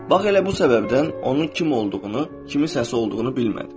Bax elə bu səbəbdən onu kim olduğunu, kimin səsi olduğunu bilmədin.